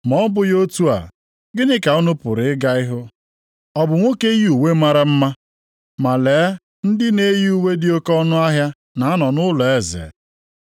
Ma ọ bụghị otu a, gịnị ka unu pụrụ ịga ịhụ? Ọ bụ nwoke yi uwe mara mma? Ma lee ndị na-eyi uwe dị oke ọnụahịa na-anọ nʼụlọ eze.